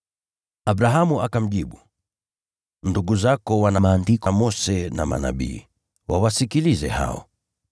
“Abrahamu akamjibu, ‘Ndugu zako wana Maandiko ya Mose na Manabii, wawasikilize hao.’